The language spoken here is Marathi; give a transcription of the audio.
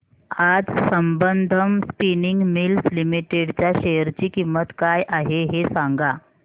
आज संबंधम स्पिनिंग मिल्स लिमिटेड च्या शेअर ची किंमत काय आहे हे सांगा